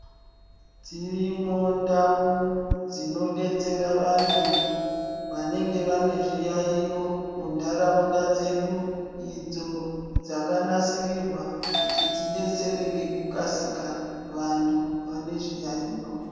Dzirimo ndau dzinodetsera vantu vanenge vanezviyaiyo muntaraunda dzedu idzo dzakanasirirwa kuti dzidetsere ngekukasika vantu vane zviyaiyo.